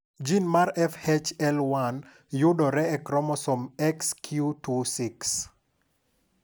Jin mar FHL1 yudore e kromosom Xq26.